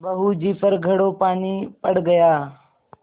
बहू जी पर घड़ों पानी पड़ गया